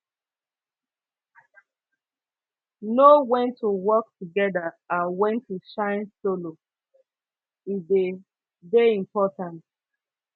know wen to work togeda and wen to shine solo e dey dey important